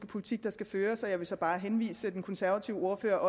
politik der skal føres og jeg vil så bare henvise den konservative ordfører